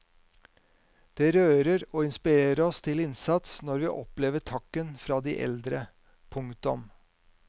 Det rører og inspirerer oss til innsats når vi opplever takken fra de eldre. punktum